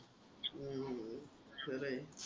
हम्म खरं आहे.